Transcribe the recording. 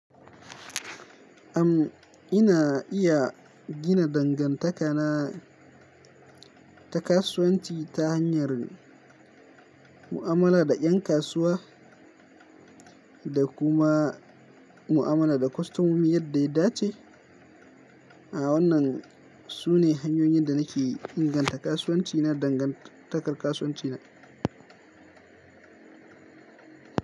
Am, ina iya gina dangantaka na ta kasuwanci ta hanyar mu'amala da ƴan kasuwa da kuma mu'amala da kostomomi yadda ya dace. A wannan, su ne hanyoyin da nake inganta kasuwanci na, dangantakar kasuwanci na.